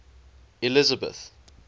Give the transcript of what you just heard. elizabeth